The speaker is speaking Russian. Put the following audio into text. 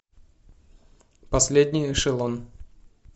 последний эшелон